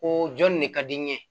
Koo jɔn nin de ka di n ye